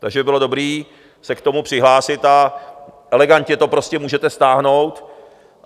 Takže by bylo dobré se k tomu přihlásit a elegantně to prostě můžete stáhnout.